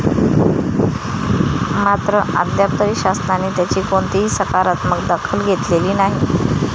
मात्र, अद्याप तरी शासनाने त्याची कोणतीही सकारात्मक दखल घेतलेली नाही.